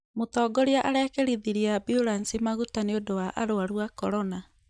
mũtongoria arekĩrithirie ambulansi maguta nĩũndũ wa arwaru a korona